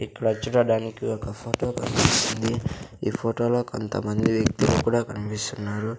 ఇక్కడ చూడడానికి ఒక ఫోటో కనిపిస్తుంది ఈ ఫోటోలో కొంతమంది వ్యక్తులు కూడా కనిపిస్తున్నారు.